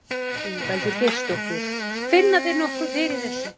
Ingveldur Geirsdóttir: Finna þeir nokkuð fyrir þessu?